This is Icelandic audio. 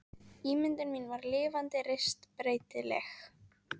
Ímyndun mín var lifandi, reist, breytileg.